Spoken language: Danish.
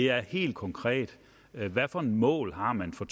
er helt konkret hvad for nogle mål har man for